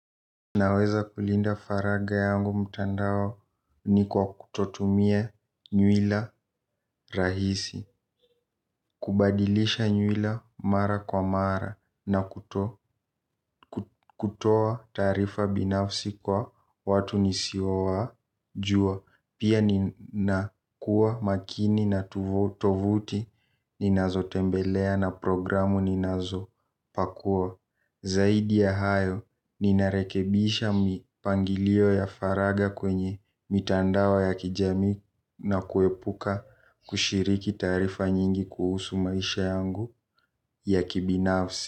Naweza kulinda faraga yangu mtandaoni kwa kutotumia nywila rahisi, kubadilisha nywila mara kwa mara na kuto kutoa taarifa binafsi kwa watu nisiowa jua. Pia nina kuwa makini na tovuti ninazo tembelea na programu ninazo pakua. Zaidi ya hayo ninarekebisha mipangilio ya faraga kwenye mitandao ya kijamii na kuepuka kushiriki taarifa nyingi kuhusu maisha yangu ya kibinafsi.